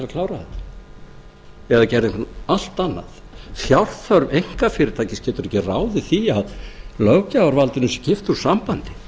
klára þetta eða gera eitthvað allt annað fjárþörf einkafyrirtækis getur ekki ráðið því að löggjafarvaldinu sé kippt úr sambandi